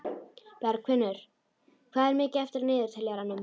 Bergfinnur, hvað er mikið eftir af niðurteljaranum?